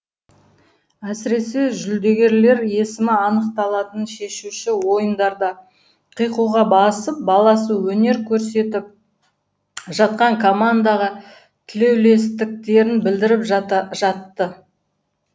әсіресе жүлдегерлер есімі анықталатын шешуші ойындарда қиқуға басып баласы өнер көрсетіп жатқан командаға тілеулестіктерін білдіріп жатты